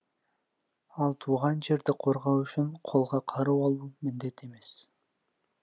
ал туған жерді қорғау үшін қолға қару алу міндет емес